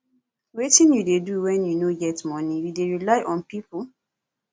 wetin you dey do when you no get monie you dey rely on people